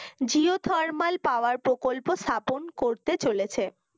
geothermal power প্রকল্প স্থাপনে করতে চলছে